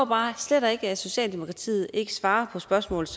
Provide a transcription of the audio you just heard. bare slet ikke at socialdemokratiet ikke svarer på spørgsmålet